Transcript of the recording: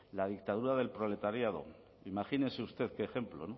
la dictadura del proletariado imagínese usted qué ejemplo